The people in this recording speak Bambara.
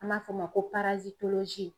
An b'a f'o ma ko